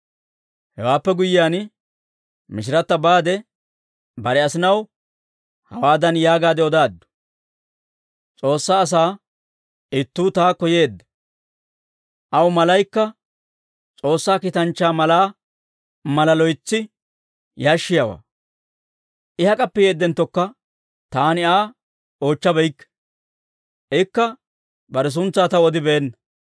Hewaappe guyyiyaan Mishirata baade, bare asinaw hawaadan yaagaadde odaaddu; «S'oossaa asaa ittuu taakko yeedda; aw malaykka S'oossaa kiitanchchaa malaa mala loytsi yashshiyaawaa. I hak'appe yeedenttokka taani Aa oochchabeykke; ikka bare suntsaa taw odibeenna.